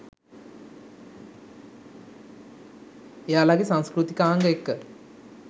එයාලගෙ සංස්කෘතිකාංග එක්ක